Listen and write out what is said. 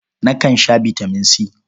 Nakan sha bitaman C.